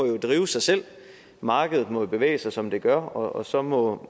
drive sig selv at markedet må bevæge sig som det gør og så må